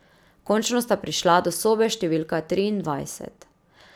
Končno sta prišla do sobe številka triindvajset.